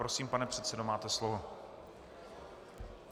Prosím, pane předsedo, máte slovo.